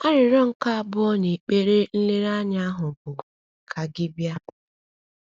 Arịrịọ nke abụọ n’ekpere nlereanya ahụ bụ: “ Ka gị bịa. ”